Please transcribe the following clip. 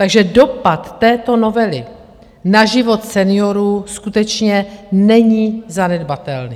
Takže dopad této novely na život seniorů skutečně není zanedbatelný.